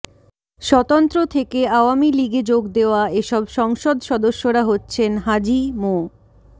স্বতন্ত্র থেকে আওয়ামী লীগে যোগ দেওয়া এসব সংসদ সদস্যরা হচ্ছেন হাজি মো